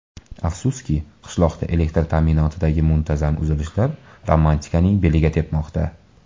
Afsuski, qishloqda elektr ta’minotidagi muntazam uzilishlar romantikaning beliga tepmoqda.